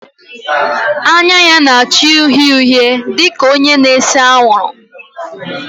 Anya ya na-acha uhie uhie dị ka onye na-ese anwụrụ